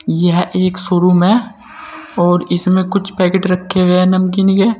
यह एक शोरूम है और इसमें कुछ पैकेट रखे हुए हैं नमकीन के।